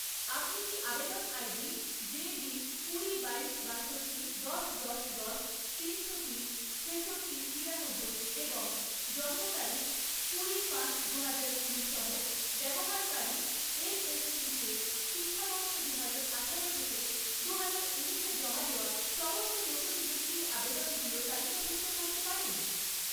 আপনি কি আবেদন আইডি জেবি কুড়ি, বাইশ, বাষট্টি, দশ, দশ, দশ, তিনশো তিন, ছেষট্টি, তিরানব্বই এবং জন্ম তারিখ কুড়ি পাঁচ দুহাজার কুড়ি সহ ব্যবহারকারীর এনএসপিতে শিক্ষাবর্ষ দুহাজার আঠারো থেকে দুহাজার ঊনিশে জমা দেওয়া সমস্ত নতুন বৃত্তির আবেদনগুলো তালিকাভুক্ত করতে পারেন?